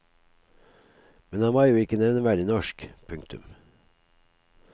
Men han var jo ikke nevneverdig norsk. punktum